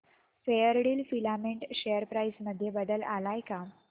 Fairdeal filament share price मध्ये बदल आलाय का